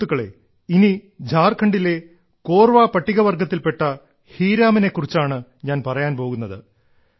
സുഹൃത്തുക്കളേ ഇനി ഝാർഖണ്ഡിലെ കോർവ പട്ടികവർഗ്ഗത്തിൽപ്പെട്ട ഹീരാമനെ കുറിച്ചാണ് ഞാൻ പറയാൻ പോകുന്നത്